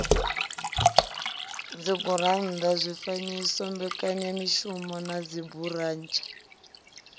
dzigurannḓa zwifanyiso mbekanyamishumo na dziburotsha